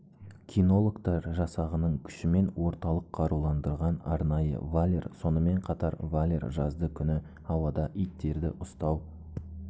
кинологтар жасағының күшімен орталық қаруландырған арнайы валер сонымен қатар валер жазды күні ауада иттерді ұстау